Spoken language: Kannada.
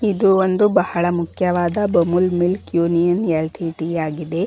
ಇದು ಒಂದು ಬಹಳ ಮುಖ್ಯವಾದ ಬಮೂಲ್ ಮಿಲ್ಕ್ ಯೂನಿಯನ್ ಎಲ್_ಟಿ_ಟಿ ಆಗಿದೆ.